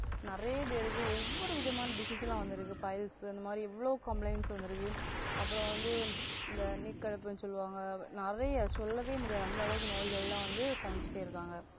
நிறைய பேருக்கு ஒவ்வொரு விதமான disease லாம் வந்திருக்கு piles அந்தமாதிரி எவ்வளவோ complaints வந்திருக்கு அப்பறம் வந்து இந்த நீர்க்கடுப்புன்னு சொல்லுவாங்க நிறைய சொல்லவே முடியாத அந்த அளவுக்கு நோய்கள் எல்லாம் வந்து சந்திச்சிட்டே இருக்காங்க